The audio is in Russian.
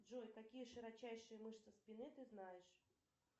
джой какие широчайшие мышцы спины ты знаешь